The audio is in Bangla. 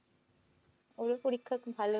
ওরও পরীক্ষা খুব ভালো